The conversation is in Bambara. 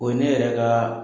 O ne yɛrɛ ka